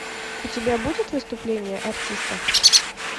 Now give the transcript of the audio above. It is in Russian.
у тебя будет выступление артиста